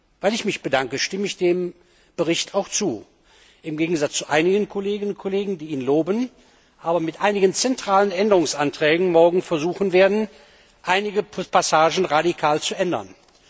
Und weil ich mich bedanke, stimme ich dem Bericht auch zu, im Gegensatz zu einigen Kolleginnen und Kollegen, die ihn loben, aber mit einigen zentralen Änderungsanträgen morgen versuchen werden, einige Passagen radikal zu ändern.